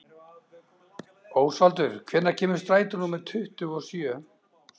Ósvaldur, hvenær kemur strætó númer tuttugu og sjö?